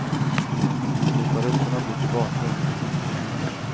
Låta rutorna bli till bakgrund, inte till hinder.